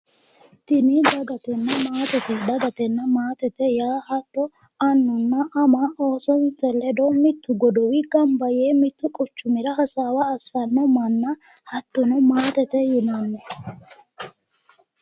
Tini dagatenna maatete ,dagatenna maatete yaa annunna ama oosote ledo mitu godowi gamba yee mitu quchumi giddo heerani hasaawa assanna manna, hattono maatete yinnanni.